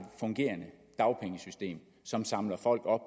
fungerende dagpengesystem som samler folk op